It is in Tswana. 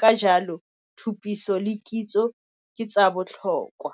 Ka jalo, tshutiso le kitso ke tsa botlhokwa.